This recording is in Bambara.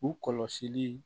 U kɔlɔsili